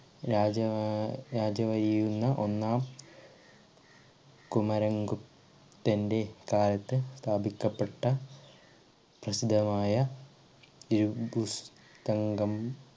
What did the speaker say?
രാജാ ആഹ് രാജവയ്യുന്ന ഒന്നാം കുമരംഗുപ്തന്റ കാലത്ത് സ്ഥാപിക്കപ്പെട്ട പ്രസിദ്ധമായ ഒരു പുസ്തങ്കം